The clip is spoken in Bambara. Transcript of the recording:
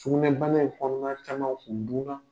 Sugunɛbana ye kɔnɔna caman dun na.